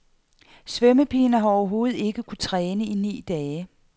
Svømmepigen har overhovedet ikke kunnet træne i ni dage.